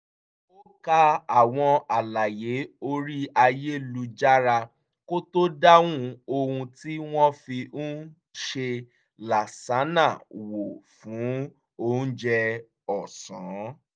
ó ka àwọn àlàyé orí ayélujára kó tó dán ohun tí wọ́n fi ń ṣe làsánà wò fún oúnjẹ ọ̀sán